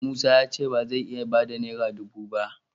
Musa ya ce ba zai iya ba da naira dubu ba.